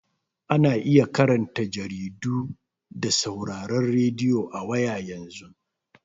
Ana iya karanta jaridu da sauraron radiyo a waya yanzu.